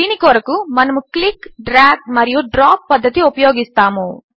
దీని కొరకు మనము క్లిక్ డ్రాగ్ మరియు డ్రాప్ పద్ధతి ఉపయోగిస్తాము